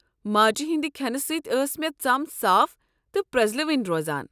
ماجہ ہٕنٛدِ کھٮ۪نہٕ سۭتۍ ٲس مےٚ ژم صاف تہٕ پرٛٮزلوٕنۍ روزان۔